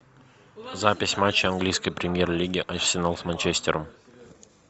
запись матча английской премьер лиги арсенал с манчестером